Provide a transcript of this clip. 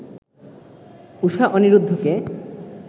Usha অনিরুদ্ধকে